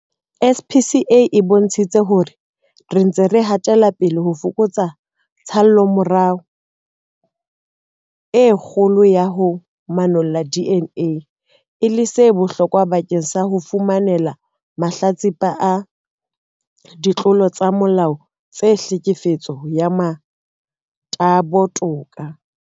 SAPS e bontshitse hore re ntse re hatela pele ho fokotsa tshallomora e kgolo ya ho manolla DNA, e leng se bohlokwa bakeng sa ho fumanela mahlatsipa a ditlolo tsa molao tsa tlhekefetso ya motabo toka.